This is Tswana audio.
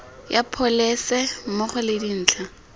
ya pholese mmogo le dintlha